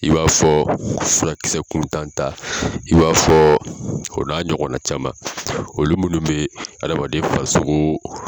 I b'a fɔ furakisɛkuntan ta i b'a fɔ o n'a ɲɔgɔnna caman olu minnu bɛ hadamaden farisoso